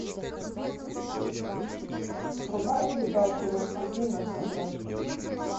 врубай передачу рен тв на смотрешке